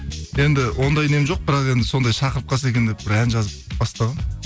енді ондай нем жоқ бірақ енді сондай шақырып қалса екен деп бір ән жазып бастағанмын